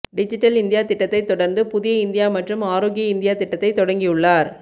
digital India திட்டத்தை தொடர்ந்து புதிய இந்தியா மற்றும் ஆரோக்கிய இந்தியா திட்டத்தை தொடங்கியுள்ளார்